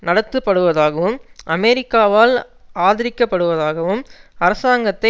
நடத்தப்படுவதாகவும் அமெரிக்காவால் ஆதரிக்கப்படுவதாகவும் அரசாங்கத்தை